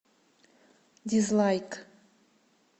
дизлайк